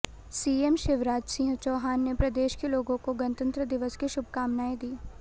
CM Shivraj Singh Chouhan ने प्रदेश के लोगों को गणतंत्र दिवस की शुभकामनाएं दी